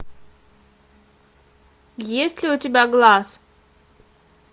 есть ли у тебя глаз